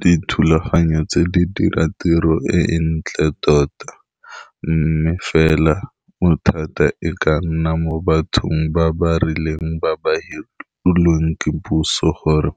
Dithulaganyo tse di dira tiro e e ntle tota, mme fela motho thata e ka nna mo bathong ba ba rileng ba ba hirilweng ke puso gore